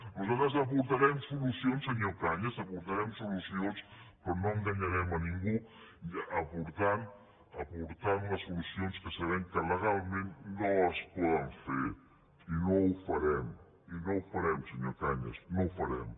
nosaltres aportarem solu cions senyor cañas aportarem solucions però no enganyarem ningú aportant unes solucions que sabem que legalment no es poden fer i no ho farem i no ho farem senyor cañas no ho farem